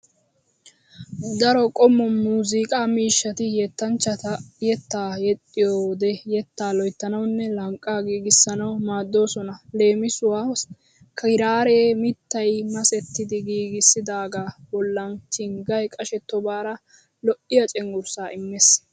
Daro qommo muuziiqaa miishshati yettanchchati yettaa yexxiyo wode yettaa loyttanawunne lanqqaa giigissanawu maaddoosona. Leemisuwawu kiraaree mittay masettidi giigidaagaa bollan chinggay qashettobare lo'iya cenggurssaa immees.